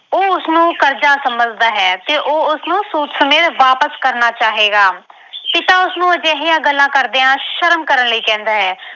ਉਹ ਉਸਨੂੰ ਕਰਜਾ ਸਮਝਦਾ ਹੈ ਤੇ ਉਹ ਉਸਨੂੰ ਸੂਦ ਸਮੇਤ ਵਾਪਿਸ ਕਰਨਾ ਚਾਹੇਗਾ ਪਿਤਾ ਉਸਨੂੰ ਅਜਿਹਿਆਂ ਗੱਲਾਂ ਕਰਦਿਆਂ ਸ਼ਰਮ ਕਰਨ ਲਈ ਕਹਿੰਦਾ ਹੈ।